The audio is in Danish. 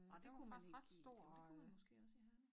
Nej det kunne ikke i det kunne man måske også ja